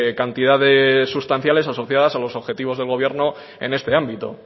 cantidades sustanciales asociadas a los objetivos de gobierno en este ámbito